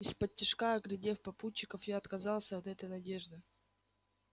исподтишка оглядев попутчиков я отказался от этой надежды